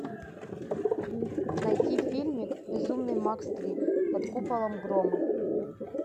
найти фильмик безумный макс три под куполом грома